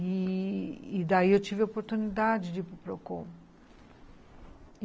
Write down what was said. E daí eu tive a oportunidade de ir para o Procon